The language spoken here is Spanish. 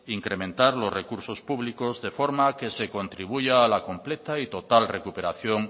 incrementar los recursos públicos de forma que se contribuya a la completa y total recuperación